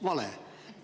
Vale!